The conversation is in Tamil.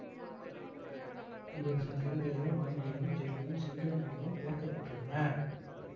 இவரது சில சிறுகதைகள் ஆங்கிலம் ஜெர்மன் சிங்கள மொழிகளில் பெயர்க்கப்பட்டுள்ளன